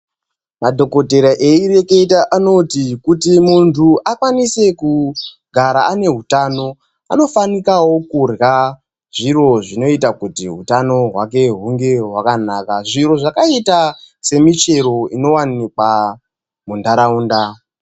Madhogodheya aireketa anoita kuti muntu akwanise kugara ane hutano anofanikawo kurya zviro zvinoita kuti hutano hwake hunge hwakanaka. Zviro zvakaita semichero inowanikwa muntaraunda.